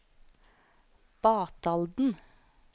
Batalden